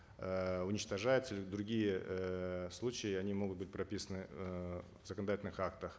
э уничтожается другие эээ случаи они могут быть прописаны э в законодательных актах